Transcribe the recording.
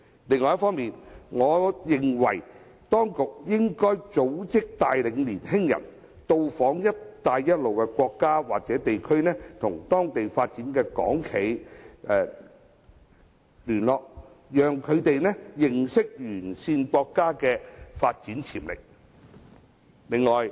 此外，我認為當局應組織帶領青年人到訪"一帶一路"的沿線國家或地區，與在當地發展的港企聯絡，讓他們認識該等地區的發展潛力。